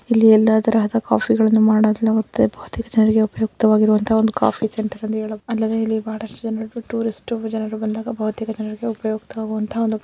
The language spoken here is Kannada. ಇಲ್ಲಿ ಎಲ್ಲ ತರದ ಕಾಫಿ ಗಳನ್ನೂ ಮಾಡುವ ಸ್ಥಳವಾಗಿದೆ ಉಪಯೋಯುಕ್ತ ವಾಗುವ ಕಾಫಿ ಸೆಂಟರ್ ಆಗಿದೆ.